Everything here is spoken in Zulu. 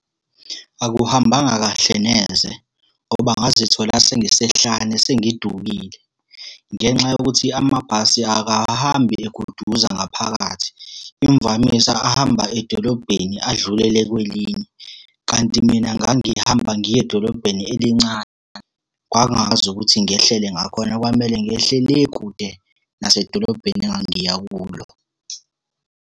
Akuhambanga kahle neze, ngoba ngazithola sengisehlane sengidukile, ngenxa yokuthi amabhasi akahambi eguduza ngaphakathi. Imvamisa ahamba edolobheni adlulele kwelinye, kanti mina ngangihamba ngiya edolobheni elincane. Kwangakwazi ukuthi ngehlele ngakhona, kwamele ngehle le kude nasedolobheni engangiya kulo.